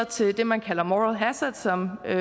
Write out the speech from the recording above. til det man kalder moral hazard som herre